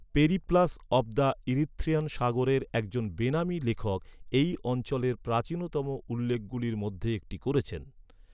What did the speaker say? Periplus of the Erythraean সাগরের একজন বেনামী লেখক এই অঞ্চলের প্রাচীনতম উল্লেখগুলির মধ্যে একটি করেছেন।